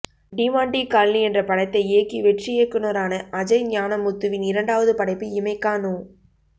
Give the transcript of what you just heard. டிமாண்டி காலானி என்ற படத்தை இயக்கி வெற்றி இயக்குனரான அஜய் ஞானமுத்துவின் இரண்டாவது படைப்பு இமைக்கா நொ